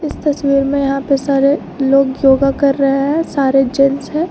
इस तस्वीर में यहां पे सारे लोग योगा कर रहे है सारे जेंट्स हैं।